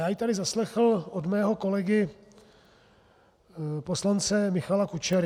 Já ji tady zaslechl od svého kolegy poslance Michala Kučery.